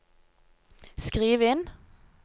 skriv inn